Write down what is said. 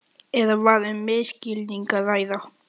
Eða var um misskilning að ræða.